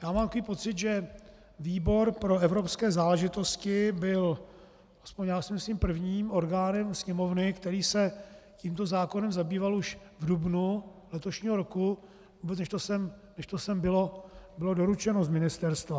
Já mám takový pocit, že výbor pro evropské záležitosti byl, aspoň já si myslím, prvním orgánem Sněmovny, který se tímto zákonem zabýval už v dubnu letošního roku, vůbec než to sem bylo doručeno z ministerstva.